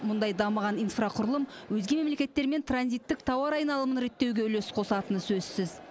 мұндай дамыған инфрақұрылым өзге мемлекеттермен транзиттік тауар айналымын реттеуге үлес қосатыны сөзсіз